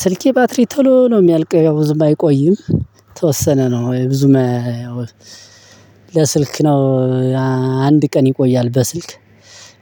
ስልኬ ባትሪ ቶሎ ነው የሚያልቀው ያው ብዙም አይቆይም የተወሰነ ነው ብዙም ለስልክ ነው። አንድ ቀን ይቆያል በስልክ